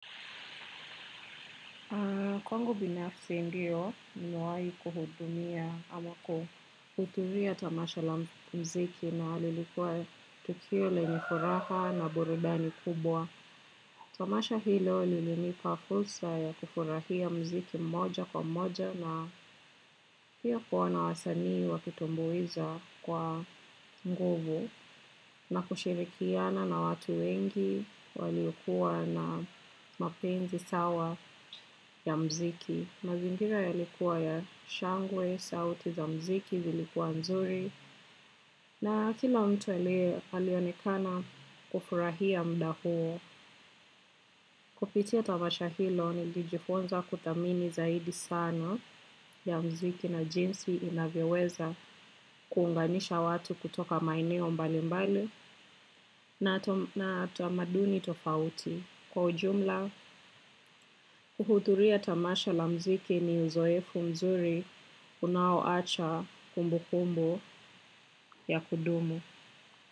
Kwangu binafsi ndio nimewai kuhudumia ama kuuthuria tamasha la mziki na lilikuwa tukio lenye furaha na burudani kubwa. Tamasha hilo lilinipa fulsa ya kufurahia mziki mmoja kwa mmoja na hiyo kuona wasanii wakitumbuiza kwa nguvu. Na kushirikiana na watu wengi walikuwa na mapenzi sawa ya mziki. Mazingira yalikuwa ya shangwe, sauti za mziki zilikuwa mzuri na kila mtu alionekana kufurahia mda huo. Kupitia tamasha hilo nilijifonza kutamini zaidi sana ya mziki na jinsi inavyoweza kuunganisha watu kutoka maeneo mbali mbali na tamaduni tofauti. Kwa ujumla, kuhuthuria tamasha la mziki ni uzoefu mzuri unaoacha kumbu kumbu ya kudumu.